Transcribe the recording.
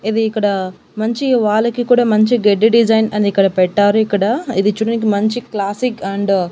ఇది ఇక్కడ మంచి వాల్ కి కూడా మంచి గడ్డి డిజైన్ అనేది ఇక్కడ పెట్టారు ఇక్కడ ఇది చూడడానికి మంచి క్లాసిక్ అండ్ .